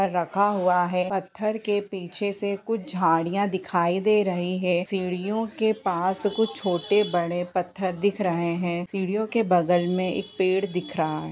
कुछ रखा हुआ है पत्थर के पीछे से कुछ झाड़ियाँ दिखाई दे रही है सीढियों के पास कुछ छोटे बड़े पत्थर दिख रहे है सीडियों के बगल में एक पेड़ दिख रहा है ।